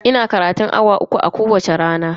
Ina karatun awa uku a kowacce rana.